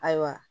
Ayiwa